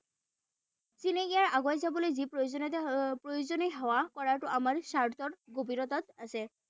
আগত যাবলৈ যি প্ৰয়োজনীয়তা প্ৰয়োজনীয় সেৱা কৰাটো আমাৰ স্বাৰ্থৰ গভীৰতাত আছে।